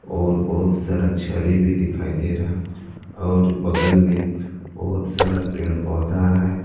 और बहुत सारा छरी भी दिखाई दे रहा है और बगल में बहुत सारा पेड़ पौधा है।